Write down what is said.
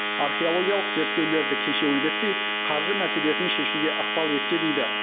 археологиялық зерттеулерді кешеуілдетпей қаржы мәселесін шешуге ықпал етсе дейді